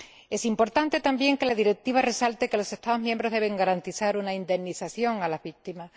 Es importante también que la Directiva resalte que los Estados miembros deben garantizar una indemnización a las víctimas.